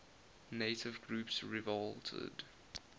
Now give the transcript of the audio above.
native groups revolted